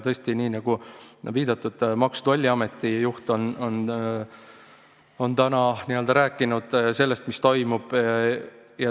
Tõesti, nagu viidatud, Maksu- ja Tolliameti juht on rääkinud sellest, mis toimub.